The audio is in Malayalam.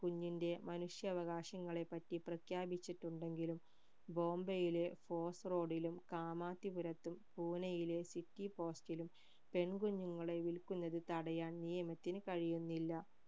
കുഞ്ഞിന്റെ മനുഷ്യാവകാശങ്ങളെപ്പറ്റി പ്രഖ്യാപിച്ചിട്ടുണ്ടെകിലും ബോംബെയിലെ fort road ലും കാമാത്തിപുരത്തും പൂനയിലെ city post ലും പെൺ കുഞ്ഞുങ്ങളെ വിൽക്കുന്നത് തടയാൻ നിയമത്തിന് കഴിയുന്നില്ല